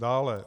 Dále.